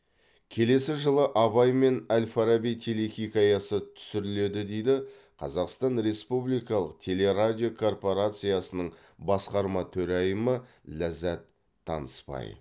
келесі жылы абай мен әл фараби телехикаясы түсіріледі дейді қазақстан республикалық телерадио корпорациясының басқарма төрайымы ләззат танысбай